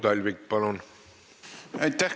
Aitäh!